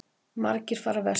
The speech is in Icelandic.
Margir fara vestur